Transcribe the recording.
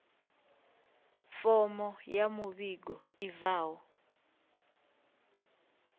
fomo ya muvhigo i bvaho